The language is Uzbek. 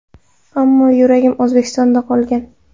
Ammo yuragim O‘zbekistonda qolgan.